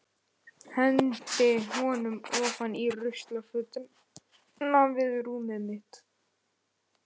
Hendi honum ofan í ruslafötuna við rúmið mitt.